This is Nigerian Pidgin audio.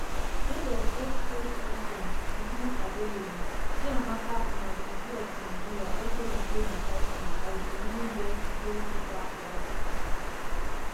end of x post con ten t is not available chiamaka nnadozie of nigeria also retain her title as di women best goalkeeper for africa